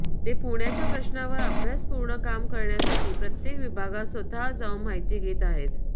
ते पुण्याच्या प्रश्नांवर अभ्यासपूर्ण काम करण्यासाठी प्रत्येक विभागात स्वतः जाऊन माहिती घेत आहेत